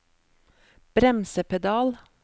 bremsepedal